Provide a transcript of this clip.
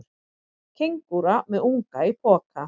Kengúra með unga í poka.